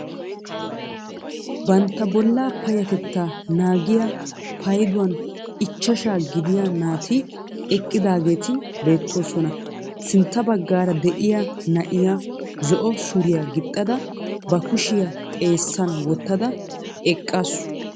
Bantta bollaa payatettaa nagiyaa payduwaan ichchaashaa gidiyaa naati eqqidaageti beettoosona. sintta baggaara de'iyaa na'iyaa zo"o suriyaa gixxada ba kushiyaa xeessan wottada eqqaasu.